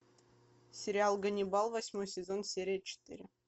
сериал ганнибал восьмой сезон серия четыре